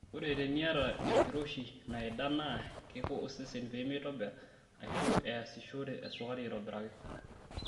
Ore teniata enkiroshi naida naa keiko osesen pee meitobirr aishu eyasishore esukari aitobiraki.